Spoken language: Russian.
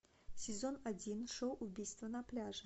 сезон один шоу убийство на пляже